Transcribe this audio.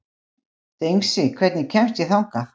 Dengsi, hvernig kemst ég þangað?